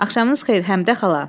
Axşamınız xeyir, Həmidə xala.